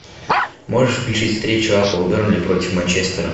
можешь включить встречу апл бернли против манчестера